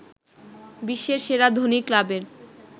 বিশ্বের সেরা ধনী ক্লাবের